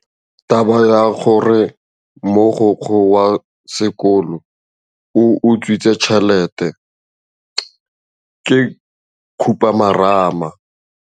Taba ya gore mogokgo wa sekolo o utswitse tšhelete ke khupamarama.